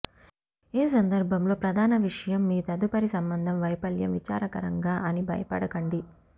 ఏ సందర్భంలో ప్రధాన విషయం మీ తదుపరి సంబంధం వైఫల్యం విచారకరంగా అని బయపడకండి